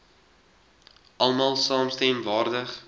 almal saamstem waardig